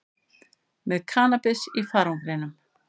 Með kannabis í farangrinum